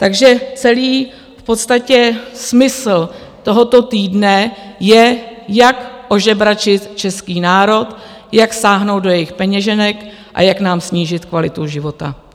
Takže celý v podstatě smysl tohoto týdne je, jak ožebračit český národ, jak sáhnout do jejich peněženek a jak nám snížit kvalitu života.